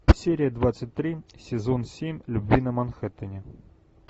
серия двадцать три сезон семь любви на манхэттене